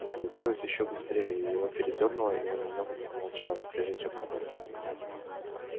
а получилось ещё быстрее его передёрнуло и он немного промолчал прежде чем продолжить